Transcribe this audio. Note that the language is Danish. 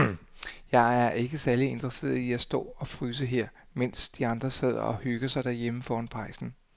Jeg er ikke særlig interesseret i at stå og fryse her, mens de andre sidder og hygger sig derhjemme foran pejsen.